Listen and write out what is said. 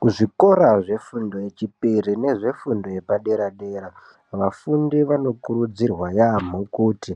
Kuzvikora zvefundo yechipiri nezvefundo yepadera dera. Vafundi vanokurudzirwa yaamho kuti